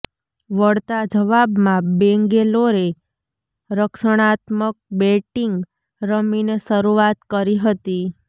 વળતા જવાબમાં બેંગેલોરે રક્ષણાત્મક બેટીંગ રમીને શરુઆત કરી હતી